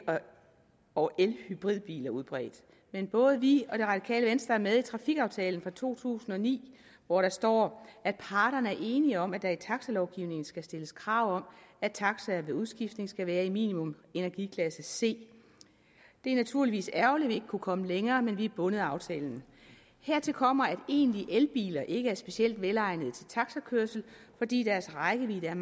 og hybridbiler udbredt men både vi og det radikale venstre er med i trafikaftalen for to tusind og ni hvor der står at parterne er enige om at der i taxalovgivningen skal stilles krav om at taxaer ved udskiftning skal være i minimum energiklasse c det er naturligvis ærgerligt at vi ikke kunne komme længere men vi er bundet af aftalen hertil kommer at egentlige elbiler ikke er specielt velegnede til taxakørsel fordi deres rækkevidde er